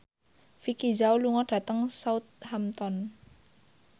Vicki Zao lunga dhateng Southampton